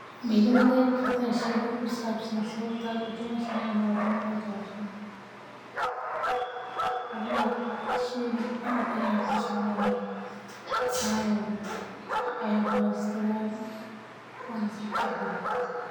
Ma ila waadigi kartaa sheeka ku sabsan sababta aad ujeceshahay ama unecbahay howshan walahi sheygan aad ayaan ujeclahay waan ku haysataa.